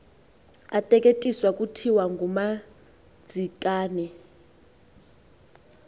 ateketiswa kuthiwa ngumadzikane